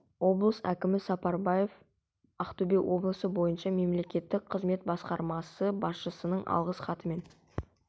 облыс әкімі сапарбаев ақтөбе облысы бойынша мемлекеттік қызмет басқармасы басшысының алғыс хаттарымен